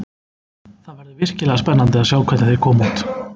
Það verður virkilega spennandi að sjá hvernig þeir koma út.